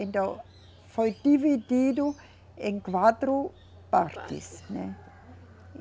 Então, foi dividido em quatro partes, né.